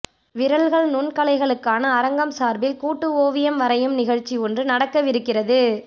விரல்கள் நுண்கலைகளுக்கான அரங்கம் சார்பில் கூட்டு ஓவியம் வரையும் நிகழ்ச்சி ஒன்று நடக்கவிருக்கிறது